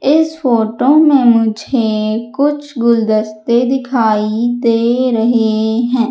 इस फोटो में मुझे कुछ गुलदस्ते दिखाई दे रहे हैं।